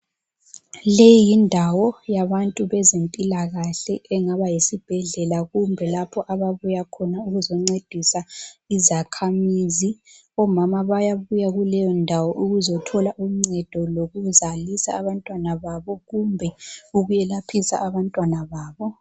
Leyi yindawo yabantu bezempilakahle engaba yisibhedlela kumbe lapho ababuyakhona ukuzoncedisa izakhamizi. Omama bayabuya kuleyondawo ukuzothola uncedo lokuzalisa abantwana babo, kumbe ukwelaphisa abantwana babo.